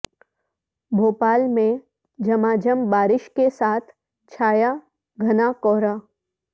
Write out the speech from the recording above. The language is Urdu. بھوپال میں جھماجھم بارش کے ساتھ چھایا گھنا کہرا